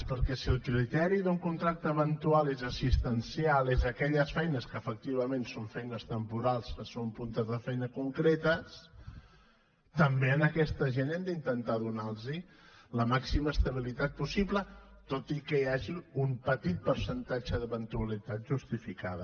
perquè si el criteri d’un contracte eventual és assistencial són aquelles feines que efectivament són feines temporals que són puntes de feina concretes també a aquesta gent hem d’intentar donar los la màxima estabilitat possible tot i que hi hagi un petit percentatge d’eventualitat justificada